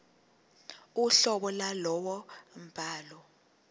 uhlobo lwalowo mbhalo